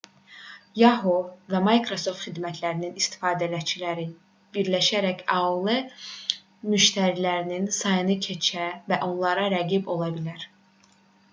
yahoo və micrasoft xidmətlərinin istifadəçiləri birləşərək aol müştərilərinin sayını keçə və onlara rəqib ola bilər